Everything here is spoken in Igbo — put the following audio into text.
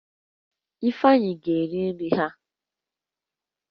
Ifeanyi ga eri nri ha